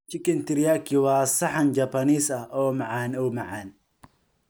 Chicken Teriyaki waa saxan Japanese ah oo macaan oo macaan.